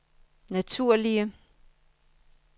naturlige